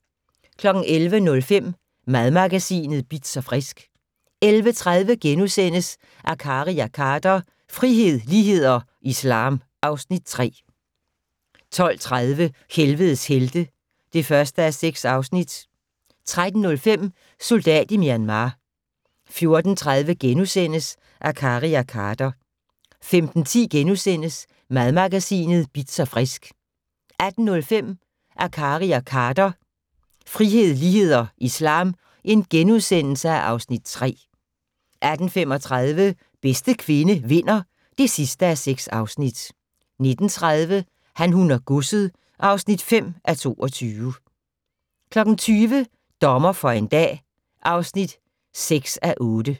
11:05: Madmagasinet Bitz & Frisk 11:30: Akkari og Khader - frihed, lighed og islam (Afs. 3)* 12:30: Helvedes helte (1:6) 13:05: Soldat i Myanmar 14:30: Akkari og Khader * 15:10: Madmagasinet Bitz & Frisk * 18:05: Akkari og Khader - frihed, lighed og islam (Afs. 3)* 18:35: Bedste kvinde vinder (6:6) 19:30: Han, hun og godset (5:22) 20:00: Dommer for en dag (6:8)